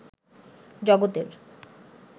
জগতের